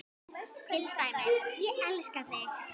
Til dæmis: Ég elska þig.